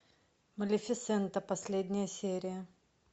малефисента последняя серия